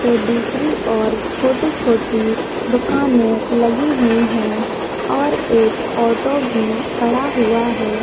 तो दूसरी ओर छोटी-छोटी दुकानें लगी हुई है और एक ऑटो भी खड़ा हुआ है।